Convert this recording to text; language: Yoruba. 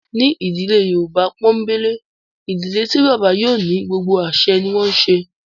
Ní ìdílé Yorùbá pọ́ńbélé, ìdílé tí bàbá yóò ní gbogbo àsẹ ní wọ́n ń ṣe